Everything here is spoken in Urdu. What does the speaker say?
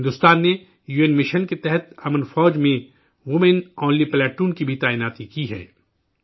بھارت نے یو این مشن کے تحت امن فوج میں ویمن آنلی پلاٹون کی بھی تعیناتی کی ہے